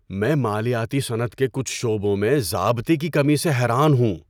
میں مالیاتی صنعت کے کچھ شعبوں میں ضابطے کی کمی سے حیران ہوں۔